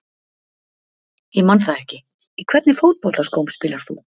Ég man það ekki Í hvernig fótboltaskóm spilar þú?